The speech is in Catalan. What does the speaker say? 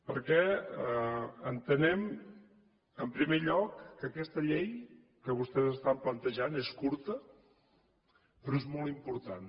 perquè entenem en primer lloc que aquesta llei que vostès estan plantejant és curta però és molt important